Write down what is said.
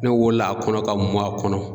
Ne wolo la a kɔnɔ ka mɔn a kɔnɔ